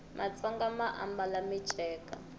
matsonga ma ambala miceka